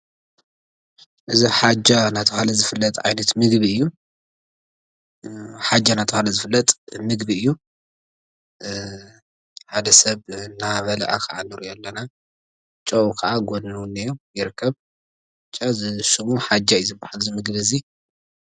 እዚ ሓጃ እናተብሃለ ዝፍለጥ ዓይነት ምግቢ እዩ። ሓጃ እናተብሃለ ዝፍለጥ ምግቢ እዩ። ሓደ ሰብ እናበልዐ ኸዓ እንሪኦ ኣለና። ጨው ኸዓ ኣብ ጎኑ እንሆ ይርከብ ጨሸሙ ሓጃ እዩ ዝበሃል እዚ ምግቢ እዙይ።